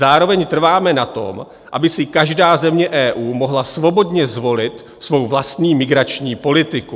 Zároveň trváme na tom, aby si každá země EU mohla svobodně zvolit svou vlastní migrační politiku.